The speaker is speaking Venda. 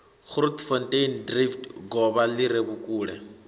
grootfonteindrift govha li re vhukule